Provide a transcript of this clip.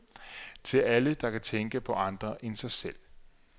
Til alle, der kan tænke på andre end sig selv.